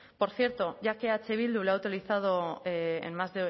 por cierto ya que eh bildu lo ha utilizado en más